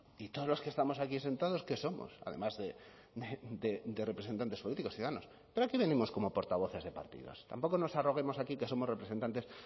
y todos los que estamos aquí sentados qué somos además de representantes políticos ciudadanos pero aquí venimos como portavoces de partidos tampoco nos arroguemos aquí que somos representantes